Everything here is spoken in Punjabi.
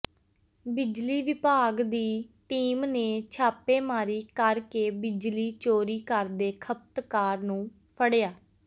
ਬਿਜਲੀ ਵਿਭਾਗ ਦੀ ਟੀਮ ਨੇ ਛਾਪੇਮਾਰੀ ਕਰ ਕੇ ਬਿਜਲੀ ਚੋਰੀ ਕਰਦੇ ਖਪਤਕਾਰ ਨੂੰ ਫੜਿਆ